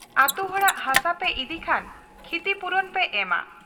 ᱟᱹᱛᱩ ᱦᱚᱲᱟᱜ ᱦᱟᱥᱟᱯᱮ ᱤᱫᱤ ᱠᱷᱟᱱ ᱠᱷᱤᱛᱤᱯᱩᱨᱚᱱ ᱯᱮ ᱮᱢᱟ ᱾